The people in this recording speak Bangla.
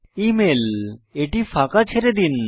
ইমেইল এটি ফাঁকা ছেড়ে দিন